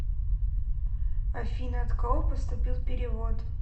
афина от кого поступил перевод